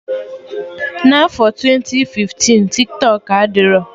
N'afọ twenti fiftin, Tiktọk adịrọ